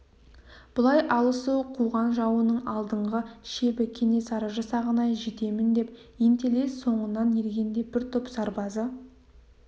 бұлай алысу қуған жауының алдыңғы шебі кенесары жасағына жетемін деп ентелей соңынан ергенде бір топ сарбазы